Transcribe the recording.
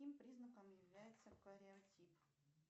каким признаком является кариотип